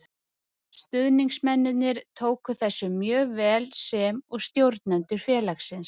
Stuðningsmennirnir tóku þessu mjög vel sem og stjórnendur félagsins.